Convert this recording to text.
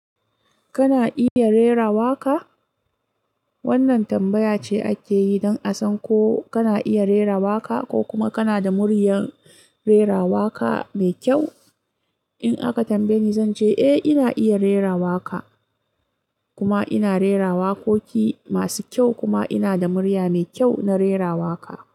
Kana iya rera waƙa? Wannan tambaya ce ake yi don a san ko kana iya rera waƙa ko kuma kana da muryar rera waƙa mai kyau. In aka tambaye ni, zan ce eh ina iya rera waƙa kuma ina rera waƙoƙi masu kyau kuma ina da murya mai kyau na rera waƙa.